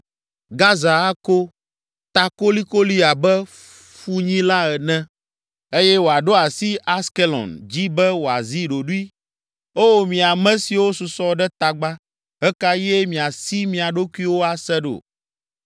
Gaza ako ta kolikoli abe funyila ene, eye wòaɖo asi Askelon dzi be wòazi ɖoɖoe. O, mi ame siwo susɔ ɖe tagba, ɣe ka ɣie miasi mia ɖokuiwo ase ɖo?